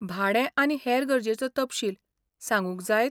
भाडें आनी हेर गरजेचो तपशील सांगूंक जायत?